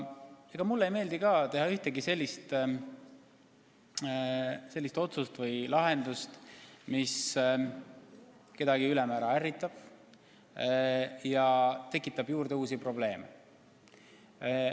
Ega mulle ei meeldi ka teha otsust, mis kedagi väga ärritab ja tekitab uusi probleeme juurde.